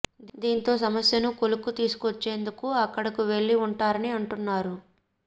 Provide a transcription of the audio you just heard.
దీంతో సమస్యను కొలిక్కి తీసుకు వచ్చేందుకు అక్కడకు వెళ్లి ఉంటారని అంటున్నారు